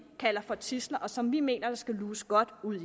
kalder for tidsler og som vi mener der skal luges godt ud